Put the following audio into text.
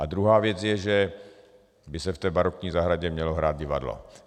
A druhá věc je, že by se v té barokní zahradě mělo hrát divadlo.